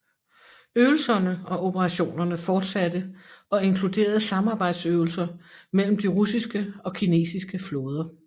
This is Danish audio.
Øvelserne og operationerne fortsatte og inkluderede samarbejdsøvelser mellem de russiske og kinesiske flåder